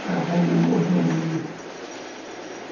Acabou a minha mordomia.